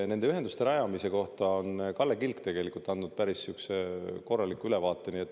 Nende ühenduste rajamise kohta on Kalle Kilk tegelikult andnud päris korraliku ülevaate.